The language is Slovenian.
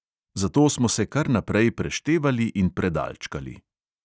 Zato smo se kar naprej preštevali in predalčkali.